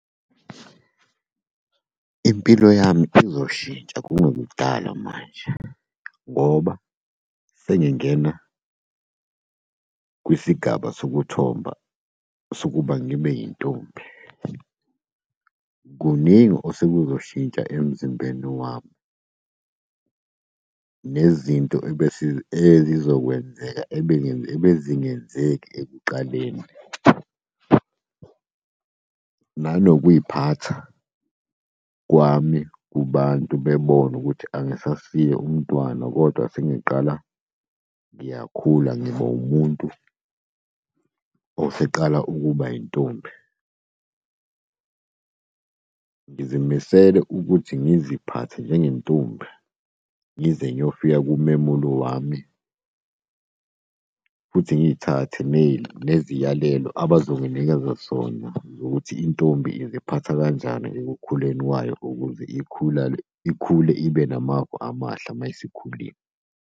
Impilo yami izoshintsha kungekudala manje, ngoba sengingena kwisigaba sokuthomba sokuba ngibe yintombi. Kuningi osekuzoshintsha emzimbeni wami. Nezinto ebese ezizokwenzeka ebezingenzeki ekuqaleni. Nanokuy'phatha kwami kubantu bebone ukuthi angisasiye umntwana kodwa sengiqala ngiyakhula, ngiba umuntu oseqala ukuba yintombi. Ngizimisele ukuthi ngiziphathe njengentombi, ngize niyofika kumemulo wami futhi ngiy'thathe neziyalelo abazonginikeza zona zokuthi intombi iziphatha kanjani ekukhuleni kwayo ukuze ikhule ibe namava amahle uma isikhulile.